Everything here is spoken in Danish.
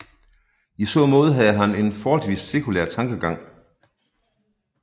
I så måde havde han en forholdsvis sekulær tankegang